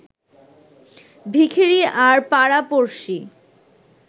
ভিখিরি আর পাড়া পড়শি